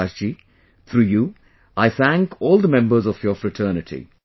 Prakash ji, through you I, thank all the members of your fraternity